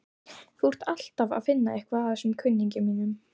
Þú ert alltaf að finna eitthvað að þessum kunningjum mínum.